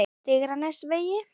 Digranesvegi